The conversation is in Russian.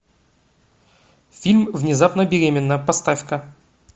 фильм внезапно беременна поставь ка